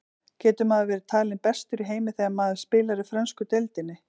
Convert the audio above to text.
Getur maður verið talinn bestur í heimi þegar maður spilar í frönsku deildinni?